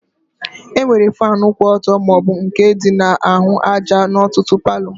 E nwere fanu kwụ ọtọ maọbụ nke dị na-ahụ àjà n'ọtụtụ palo